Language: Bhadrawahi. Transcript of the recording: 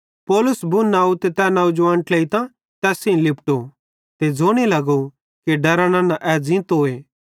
पौलुस बुन आव ते तै नौजवान ट्लेइतां तैस सेइं लिपटो ते ज़ोने लगो कि डरा नन्ना ए ज़ींतोए